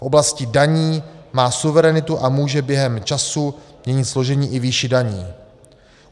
V oblasti daní má suverenitu a může během času měnit složení i výši daní.